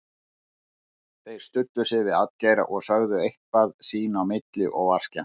Þeir studdu sig við atgeira og sögðu eitthvað sín á milli og var skemmt.